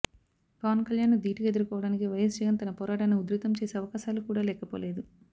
పవన్ కల్యాణ్ను ధీటుగా ఎదుర్కోవడానికి వైయస్ జగన్ తన పోరాటాన్ని ఉధృతం చేసే అవకాశాలు కూడా లేకపోలేదు